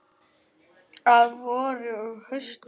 Að vori og hausti.